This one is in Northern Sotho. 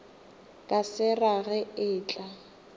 ka se rage e tla